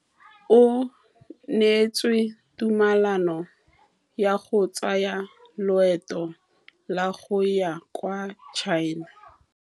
O neetswe tumalanô ya go tsaya loetô la go ya kwa China.